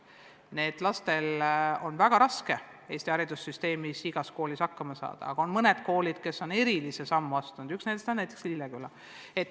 Nendel lastel on väga raske Eesti haridussüsteemis koolis hakkama saada, aga on mõned koolid, kes on erilisi samme astunud, ja üks nendest on Lilleküla kool.